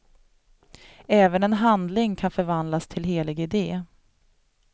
Även en handling kan förvandlas till helig idé.